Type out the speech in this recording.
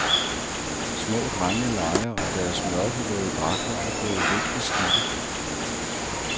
Små drenge leger og deres mørkerøde dragter er blevet lidt beskidte.